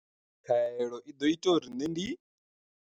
Khaelo i ḓo ita uri nṋe ndi.